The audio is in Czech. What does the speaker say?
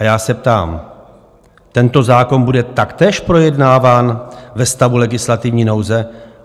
A já se ptám - tento zákon bude taktéž projednáván ve stavu legislativní nouze?